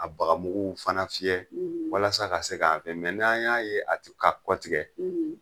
A baga muguw fana fiyɛ walasa ka se k'a fɛ n'an y'a ye a te ka kɔtigɛ